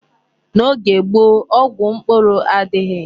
N'oge gboo, ọgwụ mkpụrụ adịghị.